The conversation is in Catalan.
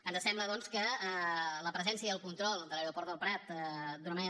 ens sembla doncs que la presència i el control de l’aeroport del prat d’una manera